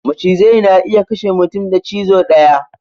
Macizai na iya kashe mutum da cizo daya